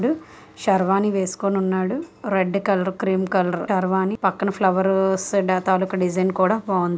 శర్వాణి వేస్కొనున్నాడు red colour cream colour sherwani పక్కన flower స్ డ్ తాలూకు డిజైన్ కూడా బాఉండు.